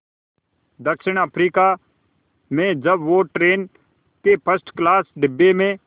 दक्षिण अफ्रीका में जब वो ट्रेन के फर्स्ट क्लास डिब्बे में